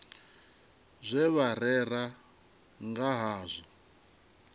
zwe vha rera nga hazwo